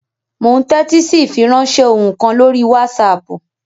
Mò ún tẹ́tí sí ìfiránsẹ́ ohùn kan lórí wásaàpù